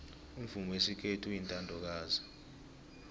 umvumo wesikhethu uyintandokazi